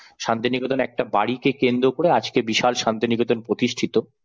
শান্তিনিকেতন একটা বাড়ি কে কেন্দ্র করে আজকে বিশাল শান্তিনিকেতন প্রতিষ্ঠিত।